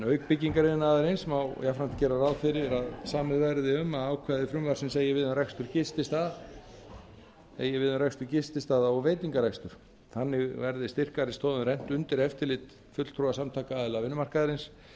auk byggingariðnaðarins má jafnframt gera ráð fyrir að samið verði um að ákvæði frumvarpsins eigi við um rekstur gististaða og veitingarekstur þannig verði styrkari stoðum rennt undir eftirlit fulltrúa samtaka aðila vinnumarkaðarins